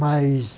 Mas...